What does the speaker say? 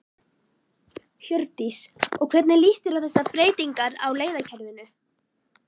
Hjördís: Og hvernig líst þér á þessar breytingar á leiðakerfinu?